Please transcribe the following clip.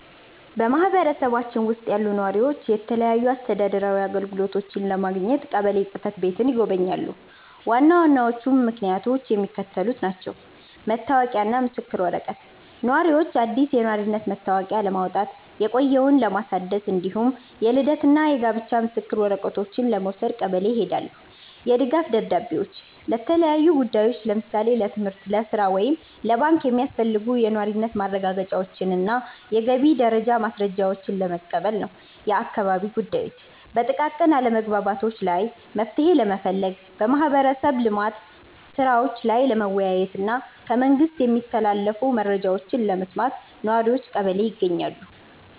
በማኅበረሰባችን ውስጥ ያሉ ነዋሪዎች የተለያዩ አስተዳደራዊ አገልግሎቶችን ለማግኘት ቀበሌ ጽሕፈት ቤትን ይጎበኛሉ። ዋና ዋናዎቹ ምክንያቶች የሚከተሉት ናቸው፦ መታወቂያና ምስክር ወረቀት፦ ነዋሪዎች አዲስ የነዋሪነት መታወቂያ ለማውጣት፣ የቆየውን ለማደስ፣ እንዲሁም የልደትና የጋብቻ ምስክር ወረቀቶችን ለመውሰድ ቀበሌ ይሄዳሉ። የድጋፍ ደብዳቤዎች፦ ለተለያዩ ጉዳዮች (ለምሳሌ ለትምህርት፣ ለሥራ ወይም ለባንክ) የሚያስፈልጉ የነዋሪነት ማረጋገጫዎችንና የገቢ ደረጃ ማስረጃዎችን ለመቀበል ነው። የአካባቢ ጉዳዮች፦ በጥቃቅን አለመግባባቶች ላይ መፍትሔ ለመፈለግ፣ በማኅበረሰብ ልማት ሥራዎች ላይ ለመወያየትና ከመንግሥት የሚተላለፉ መረጃዎችን ለመስማት ነዋሪዎች ቀበሌ ይገኛሉ።